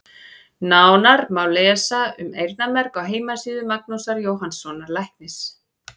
Nánar má lesa um eyrnamerg á heimasíðu Magnúsar Jóhannssonar læknis.